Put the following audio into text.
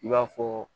I b'a fɔ